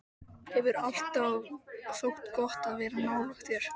Hefur alltaf þótt gott að vera nálægt þér.